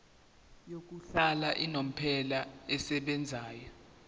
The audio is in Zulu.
yokuhlala unomphela esebenzayo